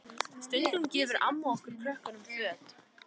Stundum gefur amma okkur krökkunum föt.